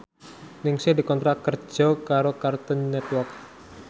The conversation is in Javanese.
Ningsih dikontrak kerja karo Cartoon Network